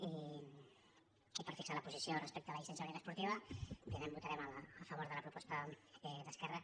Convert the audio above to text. i per fixar la posició respecte a la llicència única es·portiva òbviament votarem a favor de la proposta d’esquerra